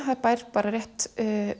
það er bær bara rétt